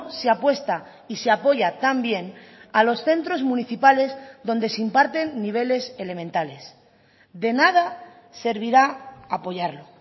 se apuesta y se apoya también a los centros municipales donde se imparten niveles elementales de nada servirá apoyarlo